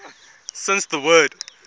since the word